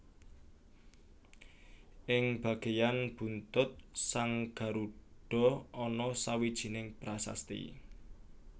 Ing bagéyan buntut sang Garudha ana sawijining prasasti